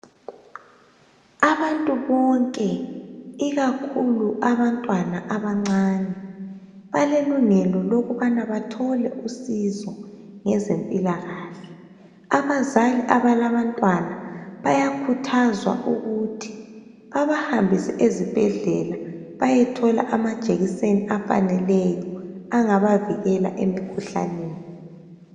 Abantu bonke ikakhulu abantwana abancane balelungelo lokubana bathole usizo ngezempilakahle abazali abalabantwana bayakhuthazwa ukuthi babahambise eZibhedlela bayethola amajekiseni afaneleyo angabavikela emikhuhlaneni